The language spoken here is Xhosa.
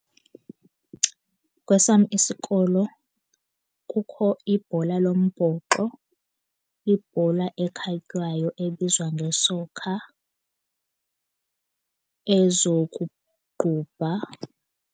Kwesam isikolo kukho ibhola lombhoxo, ibhola ekhatywayo ebizwa nge-soccer, ezokuqubha.